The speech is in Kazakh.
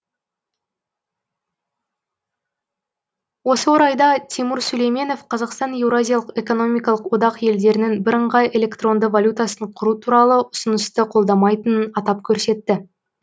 осы орайда тимур сүлейменов қазақстан еуразиялық экономикалық одақ елдерінің бірыңғай электронды валютасын құру туралы ұсынысты қолдамайтынын атап көрсетті